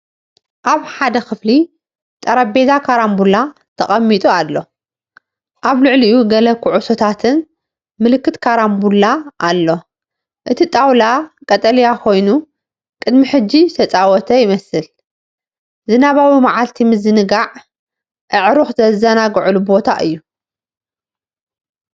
ኣብ ሓደ ክፍሊ ጠረጴዛ ካራምቡላ ተቐሚጡ ኣሎ። ኣብ ልዕሊኡ ገለ ኩዕሶታትን ምልክት ካራምቡላ ኣሎ። እቲ ጣውላ ቀጠልያ ኮይኑ፡ ቅድሚ ሕጂ ዝተጻወተ ይመስል። ዝናባዊ መዓልቲ ምዝንጋዕ፡ ኣዕሩኽ ዝዘናግዑሉን ቦታ እዩ።